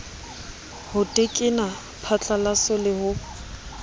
ho tekena phatlalaso le ho